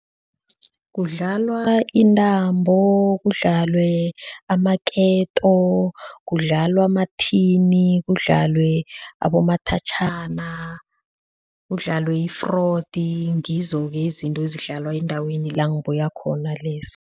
Kudlalwa intambo, kudlalwe amaketo, kudlalwa amathini, kudlalwe abomathatjhana, kudlalwe i-fraud, ngizo-ke izinto ezidlala endaweni langibuya khona lezi.